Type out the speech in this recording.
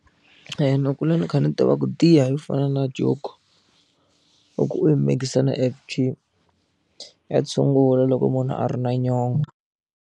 Ni kule ni kha ni tiva ku hi tiya yo fana na Joko loko u yi mikisa na F_G ya tshungula loko munhu a ri na .